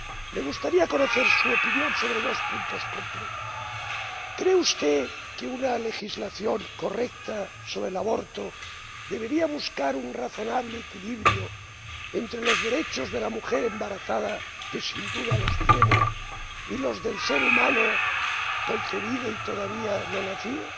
Me gustaría conocer su opinión sobre dos puntos concretos ¿cree usted que una legislación correcta sobre el aborto debería buscar un razonable equilibrio entre los derechos de la mujer embarazada ―que sin duda los tiene― y los del ser humano concebido y todavía no nacido?